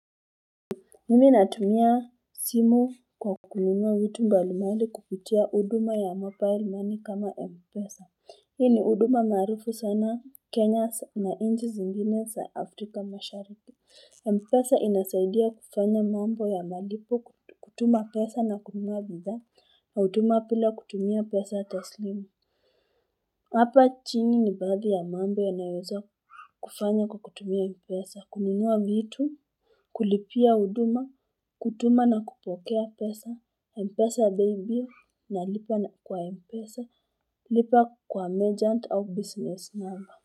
Mimi natumia simu kwa kununua vitu mbalimbali kupitia huduma ya mobile money kama Mpesa. Hii ni huduma maarufu sana Kenya na nchi zingine za Afrika mashariki. Mpesa inasaidia kufanya mambo ya malipo kutuma pesa na kununua bidhaa, huduma bila kutumia pesa taslimu. Hapa chini ni baadhi ya mambo yanayoweza kufanya kwa kutumia mpesa, kununua vitu, kulipia huduma, kutuma na kupokea pesa, Mpesa paybill, na lipa na kwa mpesa, lipa kwa merchant au business number.